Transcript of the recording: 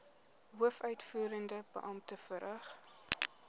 hoofuitvoerende beampte verrig